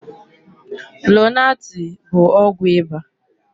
Lonaatị bụ ọgwụ ịba.